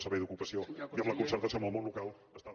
servei d’ocupació i amb la concertació amb el món local està